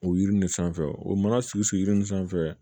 O yiri in de sanfɛ o mana sigi sigi yiri nin sanfɛ